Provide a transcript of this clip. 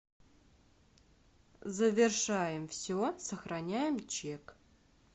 завершаем все сохраняем чек